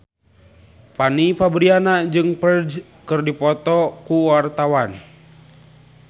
Fanny Fabriana jeung Ferdge keur dipoto ku wartawan